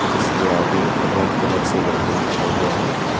जिसके आगे red colour से वेलकम लिखा हुआ है।